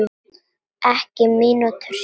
Ekki mínútu síðar